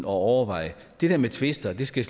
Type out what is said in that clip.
overveje det der med tvister skal